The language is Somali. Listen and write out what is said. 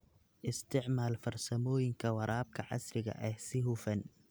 Isticmaal farsamooyinka waraabka casriga ah si hufan.